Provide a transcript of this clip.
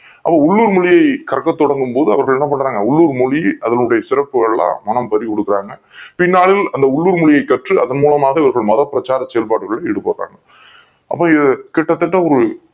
உள்ளூர் மொழியை கற்க தொடங்கும் போது அவங்க என்ன பண்றாங்க உள்ளூர் மொழி அதனுடைய சிறப்புகள் எல்லாம் தெரிந்து கொள்றாங்க பின்னாளில் உள்ளூர் மொழி கற்று அதன் மூலமாக மதப் பிரச்சாரங் களில் செயல் படுறாங்க அப்பா இது கிட்டத் தட்ட ஒரு